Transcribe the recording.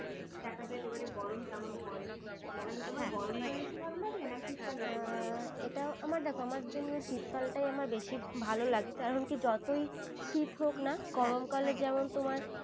দেখা যাক এবার গরম কেমন পড়ে। আচ্ছা তোমার গরম কাল বেশি ভালো লাগে, নাকি শীতকাল বেশি ভালো লাগে? এ এটা দেখো আমার জন্য শীতকাল টাই আমার বেশি ভালো লাগে। কারণ কি যতই শীত হোক না গরমকালে যেমন তোমার